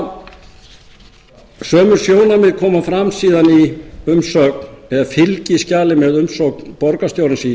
fjárhagslega sömu sjónarmið koma fram síðan í umsögn eða fylgiskjali með umsögn borgarstjórans í